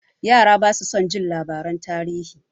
Yara basu son jin labaran tarihi.